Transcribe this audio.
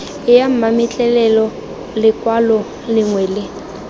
ya mametlelelo lekwalo lengwe le